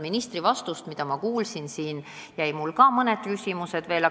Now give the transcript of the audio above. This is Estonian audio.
Ministri vastusest, nagu ma siin kuulsin, jäid mõned küsimused veel üles.